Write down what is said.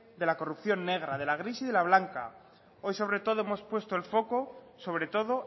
de la corrupción negra de la gris y de la blanca hoy sobre todo hemos puesto el foco sobre todo